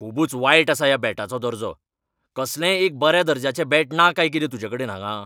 खुबूच वायट आसा ह्या बॅटाचो दर्जो . कसलेंय एक बऱ्या दर्ज्याचें बॅट ना काय कितें तुजेकडेन हांगा?